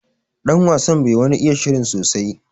Ɗan wasan bai wani iya shirin sosai.